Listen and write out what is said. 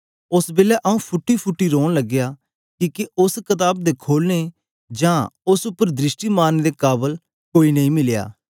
ओस बेलै आऊँ फूटीफूटी रौन लगया किके उस्स कताब दे खोलने जां उस्स उपर दृष्टि मारने दे काबल कोई नेई मिलया